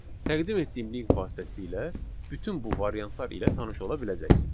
Təqdim etdiyim link vasitəsilə bütün bu variantlar ilə tanış ola biləcəksiniz.